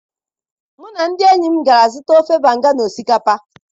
mu na ndi enyim gara zuta ofe banga na osikapa